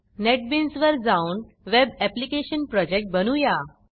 नेटबीन्सवर जाऊन web application project बनवूया